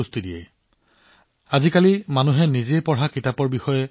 আজিকালি মই দেখিছো যে মানুহে গৌৰৱেৰে মোক কয় যে মই এই বছৰ বহুতো কিতাপ পঢ়িছো